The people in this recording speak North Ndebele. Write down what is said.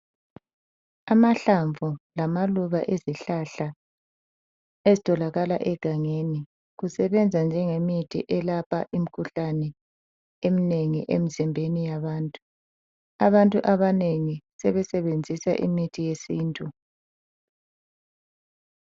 Amahlamvu lamaluba ezihlahla ezitholakala egangeni, zisebenza njengemithi elapha imikhuhlane emnengi emizimbeni yabantu. Abantu abanengi sebesenzisa imithi yesintu.